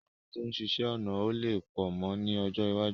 Àwọn tó ń ṣiṣẹ́ ọnà ó lè pọ̀ mọ́ ni ọjọ́ iwájú